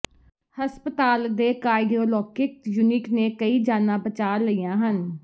ਹਸਪਤਾਲ ਦੇ cardiologic unit ਨੇ ਕਈ ਜਾਨਾਂ ਬਚਾ ਲਈਆਂ ਹਨ